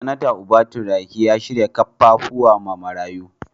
Senatar Uba Turaki ya shirya kaffafuwa ma marayu.